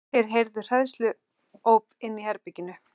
Þeir heyrðu hræðsluóp inni í herberginu.